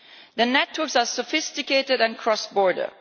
The networks are sophisticated and cross border.